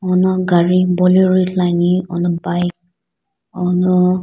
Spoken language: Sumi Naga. ouno gari bolero ithuluani ouno bike ouno --